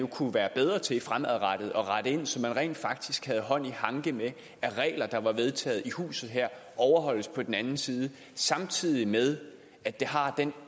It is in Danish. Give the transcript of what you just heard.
at kunne være bedre til fremadrettet at rette ind så man rent faktisk havde hånd i hanke med at regler der er vedtaget i huset her overholdes på den anden side samtidig med at det har den